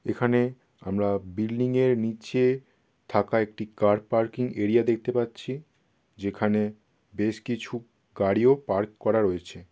এখানে আমরা বিল্ডিং এর নীচে থাকা একটি কার পার্কিং এরিয়া দেখতে পাচ্ছি যেখানে বেশ কিছু গাড়িও পার্ক করা রয়েছে।